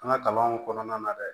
An ka kalanw kɔnɔna na dɛ